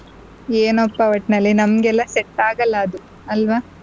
ಏನಪ್ಪಾ ಒಟ್ನಲ್ಲಿ ನಮಗೆಲ್ಲ set ಆಗಲ್ಲ ಅದು ಅಲ್ವಾ.